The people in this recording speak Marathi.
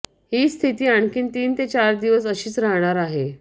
ही स्थिती आणखी तीन ते चार दिवस अशीच राहणार आहे